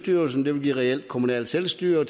vil give reelt kommunalt selvstyre